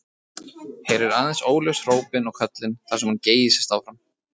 Heyrir aðeins óljós hrópin og köllin þar sem hún geysist áfram.